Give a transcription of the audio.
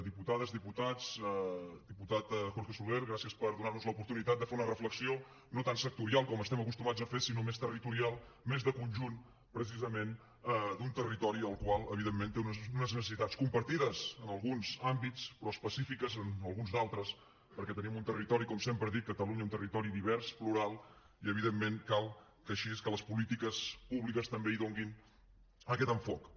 diputades diputats diputat jorge soler gràcies per donar nos l’oportunitat de fer una reflexió no tan sectorial com estem acostumats a fer sinó més territorial més de conjunt precisament d’un territori el qual evidentment té unes necessitats compartides en alguns àmbits però específiques en alguns d’altres perquè tenim un territori com sempre dic catalunya un territori divers plural i evidentment cal així que les polítiques públiques també hi donin aquest enfocament